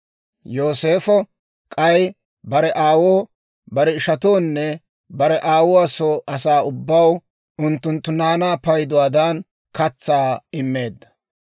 Yooseefo k'ay bare aawoo, bare ishatoonne bare aawuwaa soo asaa ubbaw unttunttu naanaa payduwaadan katsaa immeedda.